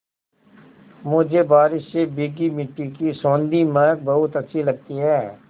मुझे बारिश से भीगी मिट्टी की सौंधी महक बहुत अच्छी लगती है